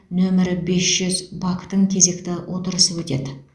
нөмірі бес жүз вак тың кезекті отырысы өтеді